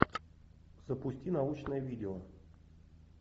запусти научное видео